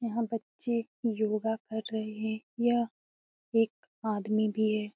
यहाँ बच्चे योगा कर रहे है यह एक आदमी भी है।